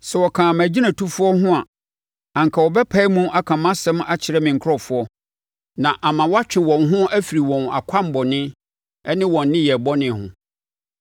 Sɛ wɔkaa mʼagyinatufoɔ ho a, anka wɔbɛpae mu aka mʼasɛm akyerɛ me nkurɔfoɔ na ama wɔatwe wɔn ho afiri wɔn akwammɔne ne wɔn nneyɛɛ bɔne ho.